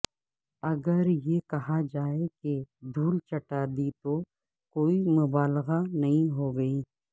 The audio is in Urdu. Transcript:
اگر یہ کہا جائے کہ دھول چٹا دی تو کوئی مبالغہ نہیں ہوگی